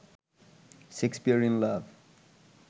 Shakespeare in love